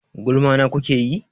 Gulma na kuke yi?